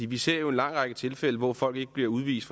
vi ser jo en lang række tilfælde hvor folk ikke bliver udvist